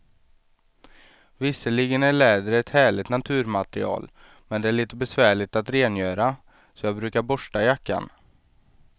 Visserligen är läder ett härligt naturmaterial, men det är lite besvärligt att rengöra, så jag brukar borsta jackan.